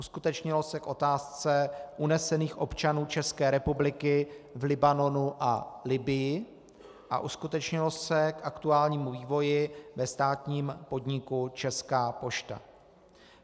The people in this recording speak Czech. Uskutečnilo se k otázce unesených občanů České republiky v Libanonu a Libyi a uskutečnilo se k aktuálnímu vývoji ve státním podniku Česká pošta.